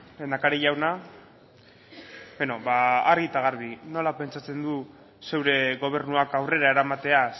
lehendakari jauna beno ba argi eta garbi nola pentsatzen du zure gobernuak aurrera eramatea